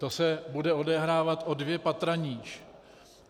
To se bude odehrávat o dvě patra níž.